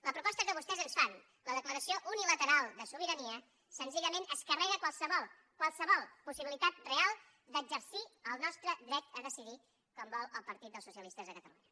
la proposta que vostès ens fan la declaració unilateral de sobirania senzillament es carrega qualsevol qualsevol possibilitat real d’exercir el nostre dret a decidir com vol el partit dels socialistes de catalunya